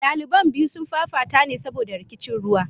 Daliban biyu sun fafata ne saboda rikicin ruwa.